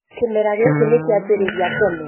kĩmera gĩkĩ nĩkĩajĩrĩria tene